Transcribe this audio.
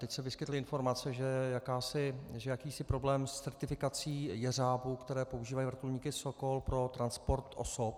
Teď se vyskytly informace, že je jakýsi problém s certifikací jeřábů, které používají vrtulníky Sokol pro transport osob.